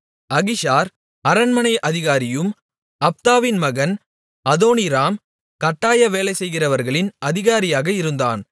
Ahishar அரண்மனை அதிகாரியும் அப்தாவின் மகன் அதோனீராம் கட்டாய வேலை செய்கிறவர்களின் அதிகாரியாக இருந்தான்